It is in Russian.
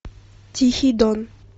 тихий дон